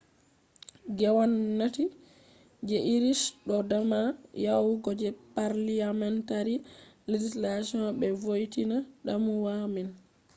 gwamnati je irish do dama yawugo je parliamentary legislation be vointina damuwa man